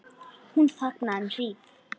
Hún þagði um hríð.